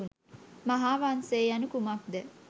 මහාවංසය යනු කුමක්ද